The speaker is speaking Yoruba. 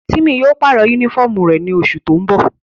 Timi yóò parọ unifọmú rẹ ni oṣu ti n bọ.